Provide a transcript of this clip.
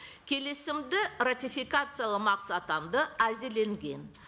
келісімді ратификациялау әзірленген